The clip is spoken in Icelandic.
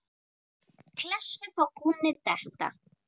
Klessu sá frá kúnni detta.